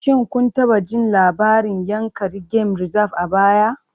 Shin kun taɓa jin labarin Yankari Game Reserve a baya?